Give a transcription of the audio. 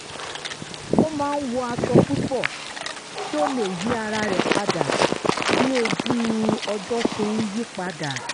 ó ma n wọ aṣọ púpọ̀ kí ó lè yí ara rẹ̀ padà bí ojú-ọjọ ṣe ń yí padà